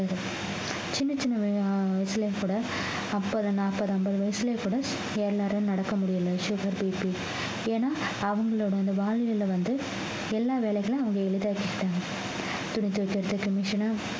சின்ன சின்ன வ~ வயசுலயும் கூட அப்ப நாப்பது அம்பது வயசுல கூட எல்லாரும் நடக்க முடியலை sugarBP ஏன்னா அவங்களோட அந்த வாழ் நிலை வந்து எல்லா வேலைகளையும் அவங்க எளிதாகி கிட்டாங்க துணி துவைக்கிறதுக்கு machine உ